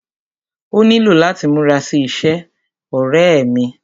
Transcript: Ó nílò láti múra sí iṣẹ́, ọ̀rẹ́ ẹ́ mí.